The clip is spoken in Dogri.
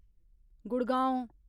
गुड़गांव